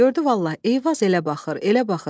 Gördü vallah, Eyvaz elə baxır, elə baxır.